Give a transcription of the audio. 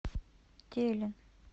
телин